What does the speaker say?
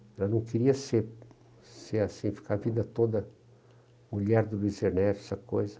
Ela não queria ser ser assim, ficar a vida toda mulher do Luiz Ernesto, essa coisa.